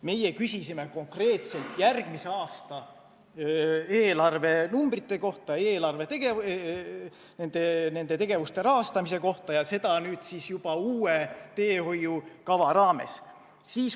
Meie küsisime konkreetselt järgmise aasta eelarve numbrite kohta, nende tegevuste rahastamise kohta ja nüüd siis juba uue teehoiukava raames.